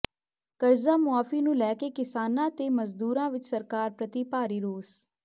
ਕਰਜ਼ਾ ਮੁਆਫ਼ੀ ਨੂੰ ਲੈ ਕੇ ਕਿਸਾਨਾਂ ਤੇ ਮਜ਼ਦੂਰਾਂ ਵਿਚ ਸਰਕਾਰ ਪ੍ਰਤੀ ਭਾਰੀ ਰੋਸ